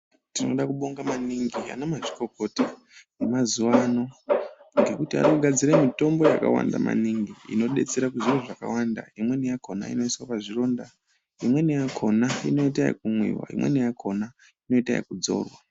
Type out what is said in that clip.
Tinoda kubonga maningi anamazvikokota vemazuwano, ngekuti anogadzire mitombo yakawanda maningi, inodetsera kuzviro zvakawanda. Imweni yakhona inoyiswa pazvironda. Imweni yakhona inoyita yokumwiwa. Imweni yakhona inoyita yekudzora.